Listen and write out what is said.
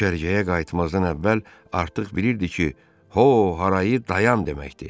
Düşərgəyə qayıtmazdan əvvəl artıq bilirdi ki, horayı dayan deməkdir.